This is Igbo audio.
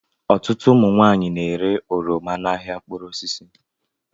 Ọtụtụ ụmụ nwaanyị na-ere oroma n'ahịa mkpụrụ osisi